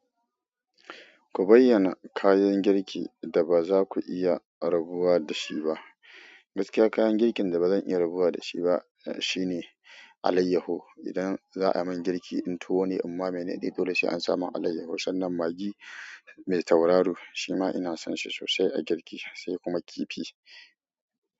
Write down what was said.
Ku bayyana kayan girki da ba za ku iya rabuwa da shi ba. Gaskiya kayan girkin da baza in iya rabuwa da shi ba shine alayyaho. Idan za a min girki in tuwo ne, in ma mene ne dole sai an samu alayyaho. Sannan magi mai tauraro shi ma ina son shi sosai a girki, sai kuma kifi.